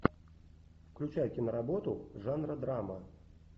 включай киноработу жанра драма